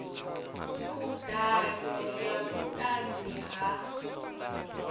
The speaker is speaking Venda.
khud ano ya vhutanzi ha